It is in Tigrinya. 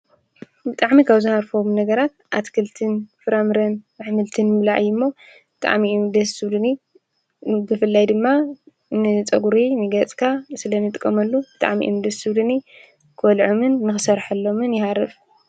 ብጣዕሚ ካብ ዝሃርፎም ነገራት ኣትክልትን ፍራ-ምረን ኣሕምልትን ብጣዕሚ እዮም ደስ ዝብሉኒ። ብፍላይ ድማ ንፀጉሪ ንገፅና ስለንጥቀመሉ ብጣዕሚ እዮም ደስ ዝብሉኒ። ንክበልዖምን ንክሰርሐሎምን ይሃርፍ።